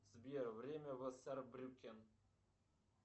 сбер время васар брюкен